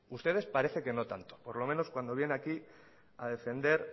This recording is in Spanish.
ustedes parece que no tanto al menos cuando viene aquí a defender